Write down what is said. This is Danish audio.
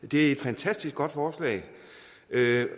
det er et fantastisk godt forslag